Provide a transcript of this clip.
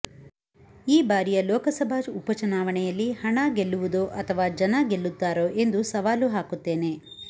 ಈ ಬಾರಿಯ ಲೋಕಸಭಾ ಉಪಚುನಾವಣೆಯಲ್ಲಿ ಹಣ ಗೆಲ್ಲುವುದೋ ಅಥವಾ ಜನ ಗೆಲ್ಲುತ್ತಾರೋ ಎಂದು ಸವಾಲು ಹಾಕುತ್ತೇನೆ